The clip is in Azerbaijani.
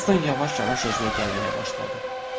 Helsing yavaş-yavaş özünə gəlməyə başladı.